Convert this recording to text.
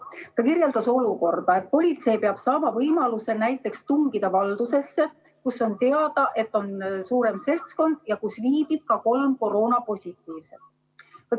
Ta kirjeldas olukorda, kus politsei peab saama võimaluse näiteks tungida valdusesse, kus on teada, et on suurem seltskond, kelle hulgas viibib ka kolm koroonapositiivset.